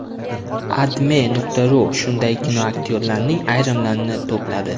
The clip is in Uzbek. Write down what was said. AdMe.ru shunday kinoaktyorlarning ayrimlarini to‘pladi .